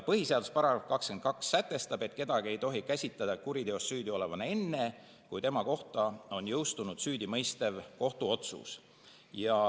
Põhiseaduse § 22 sätestab, et kedagi ei tohi käsitada kuriteos süüdi olevana enne, kui tema kohta on jõustunud süüdimõistev kohtuotsus.